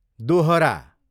दोहरा